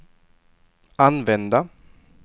använda